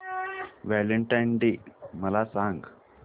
Valentine's day मला सांग